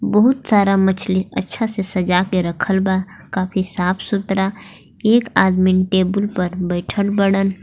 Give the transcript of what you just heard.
बहुत सारा मछली अच्छा से सजा के रखल बा काफी साफ सुथरा एक आदमी टेबुल पर बइठल बाड़न.